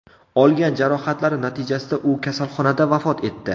Olgan jarohatlari natijasida u kasalxonada vafot etdi.